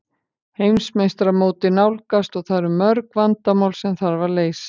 Heimsmeistaramótið nálgast og það eru mörg vandamál sem þarf að leysa.